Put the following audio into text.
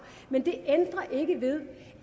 men det ændrer ikke ved